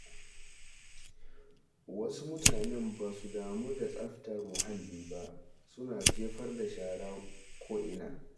Wasu mutanen ba su damu da tsaftar muhalli ba, suna jefar da shara ko’ina.